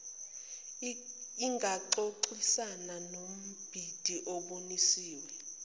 ingaxoxisana nombhidi obonisiwe